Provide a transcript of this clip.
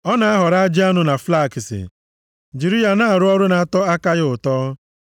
Ọ na-ahọrọ ajị anụ na flakisi jiri ya na-arụ ọrụ na-atọ aka ya ụtọ.